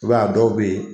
I b'a ye a dɔw bɛ yen